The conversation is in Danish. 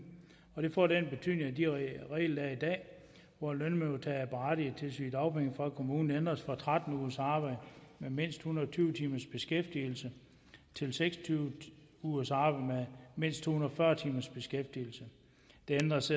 og det får den betydning at de regler der er i dag hvor lønmodtagere er berettiget til sygedagpenge fra kommunen ændres fra tretten ugers arbejde med mindst en hundrede og tyve timers beskæftigelse til seks og tyve ugers arbejde med mindst to hundrede og fyrre timers beskæftigelse der ændres